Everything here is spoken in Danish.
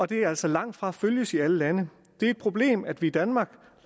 det altså langtfra følges i alle lande det er et problem at vi i danmark